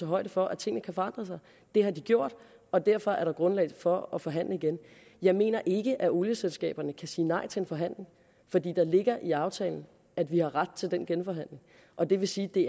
højde for at tingene kan forandre sig det har de gjort og derfor er der grundlag for at forhandle igen jeg mener ikke at olieselskaberne kan sige nej til en forhandling for der ligger i aftalen at vi har ret til den genforhandling og det vil sige at det